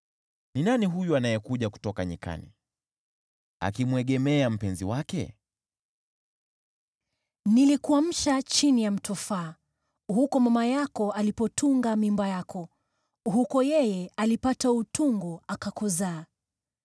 Ni nani huyu anayekuja kutoka nyikani akimwegemea mpenzi wake? Mpendwa Nilikuamsha chini ya mtofaa, huko mama yako alipotunga mimba yako, huko yeye alipata utungu akakuzaa.